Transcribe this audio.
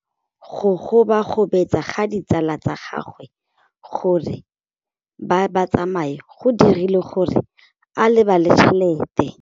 Go gobagobetsa ga ditsala tsa gagwe, gore ba tsamaye go dirile gore a lebale tšhelete.